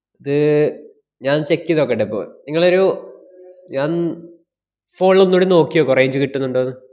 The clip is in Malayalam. ഇത് ഞാന്‍ check ചെയ്ത് നോക്കട്ടിപ്പോ. ങ്ങളൊരു ഞാന്‍ phone ലൊന്നൂടെ നോക്കി നോക്ക് range കിട്ടുന്നുണ്ടോന്ന്.